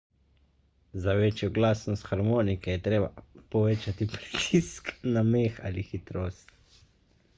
za večjo glasnost harmonike je treba povečati pritisk na meh ali hitrost